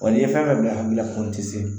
n'i ye fɛn fɛn bila a hakili la ko n tɛ se